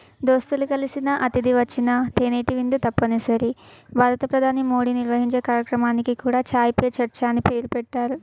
దోస్తులు కలిసిన అతిధి వచ్చిన తెనేటివిందు తప్పనిసరి. భారత ప్రధాని మోడీ నిర్వహించే కార్యక్రమానికి కూడా ఛాయ్ పే చర్చా అని పేరు పెట్టారు.